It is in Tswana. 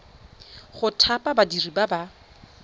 go thapa badiri ba ba